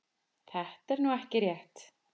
Þetta er nú ekki rétt.